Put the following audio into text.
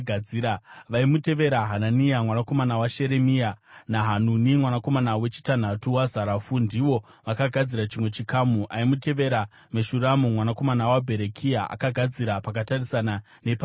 Vaimutevera, Hanania mwanakomana waSheremia naHanuni, mwanakomana wechitanhatu waZarafu, ndivo vakagadzira chimwe chikamu. Aimutevera, Meshurami mwanakomana waBherekia akagadzira pakatarisana nepaaigara.